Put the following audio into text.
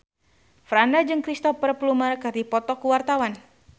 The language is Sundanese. Franda jeung Cristhoper Plumer keur dipoto ku wartawan